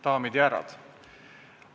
Daamid ja härrad!